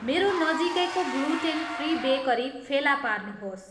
मेरो नजिकै gluten free bakery फेला पार्नुहोस्